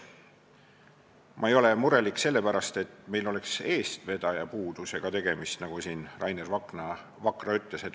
Ma ei ole murelik sellepärast, et meil oleks tegemist eestvedaja puudusega, nagu siin Rainer Vakra ütles.